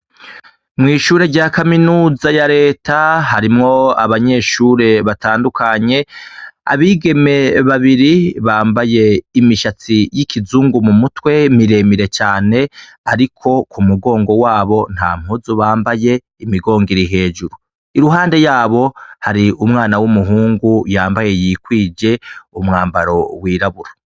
Mw'ishure rya kaminuza ya leta harimwo abanyeshure batandukanye abigeme babiri bambaye imishatsi y'ikizungu mu mutwe miremire cane, ariko ku mugongo wabo nta mpuzu bambaye imigongiri hejuru iruhande yabo hari umwanaw weumuhungu yambaye yikwije umwambaro wiraburo.